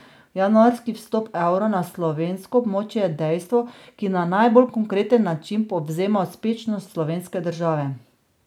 Januarski vstop evra na slovensko območje je dejstvo, ki na najbolj konkreten način povzema uspešnost slovenske države.